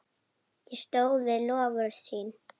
Stóð við loforð sín.